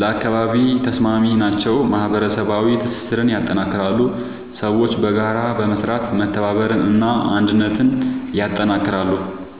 ለአካባቢ ተስማሚ ናቸው። ማህበረሰባዊ ትስስርን ያጠናክራሉ – ሰዎች በጋራ በመስራት መተባበርን እና አንድነትን ያጠናክራሉ።